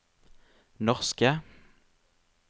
norske